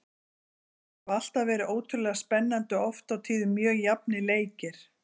Þetta hafa alltaf verið ótrúlega spennandi og oft á tíðum mjög jafnir leikir.